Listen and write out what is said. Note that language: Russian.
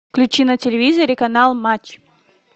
включи на телевизоре канал матч